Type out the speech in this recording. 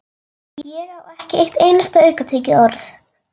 Ég á ekki eitt einasta aukatekið orð!